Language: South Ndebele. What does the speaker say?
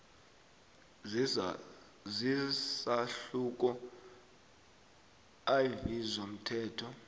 zesahluko iv somthetho